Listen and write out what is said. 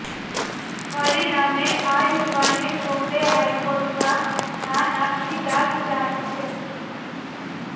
પરિણામે આ યુવાને બોમ્બે હાઇકોર્ટમાં ધા નાંખી દાદ ચાહી છે